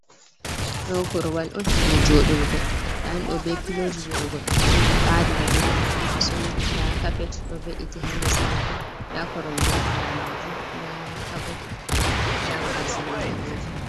Ɗo korwal on je joɗurgo nda ɗum ɗo be piloji joɗurgo d to goɗɗo jodi bari ra be majum to somi. Nda cappet ɗo ve’iti ha les majum, nda koromje ha ɓawo majum nda caboot, nda babal silugo paɗeji.